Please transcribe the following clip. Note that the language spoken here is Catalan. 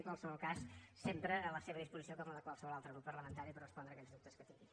en qualsevol cas sempre a la seva disposició com a la de qualsevol altre grup parlamentari per respondre aquells dubtes que tingui